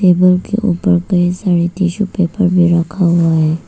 Table के ऊपर कई सारे टिशू पेपर भी रखा हुआ है।